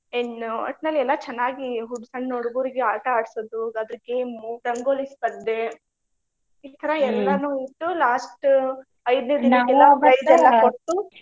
ಏನ್ ಒಟ್ನಲ್ಲಿ ಎಲ್ಲಾ ಚೆನ್ನಾಗಿ ಹುಡ್ಗು~ ಸಣ್ಣ ಹುಡ್ಗುರ್ಗೆ ಆಟಾ ಆಡ್ಸೊದು ಅದ್ರ್ game ಉ ರಂಗೋಲಿ ಸ್ಪರ್ದೆ ಈ ತರಾ ಇಟ್ಟು last ಐದ್ನೇ .